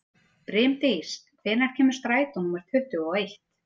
Brimdís, hvenær kemur strætó númer tuttugu og eitt?